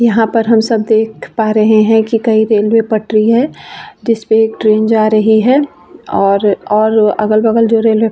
यहाँ पर हम सब देख पा रहे है कि कई रेलवे पटरी है जिस पे एक ट्रेन जा रही है और और अगल-बगल जो रेलवे --